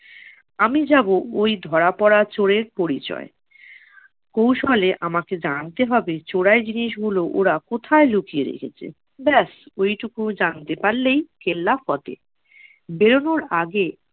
আমি যাবো ওই ধরা পরা চোরের পরিচয়ে। কৌশলে আমাকে জানতে হবে চোরাই জিনিসগুলো ওরা কোথায় লুকিয়ে রেখেছে। ব্যাস, ওইটুকু জানতে পারলেই কেল্লাফতে। বেরোনোর আগে